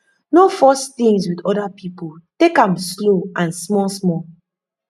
no force things with di oda person take am slow and small small